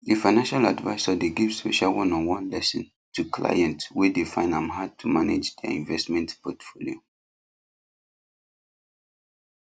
the financial advisor dey give special oneonone lesson to clients wey dey find am hard to manage their investment portfolio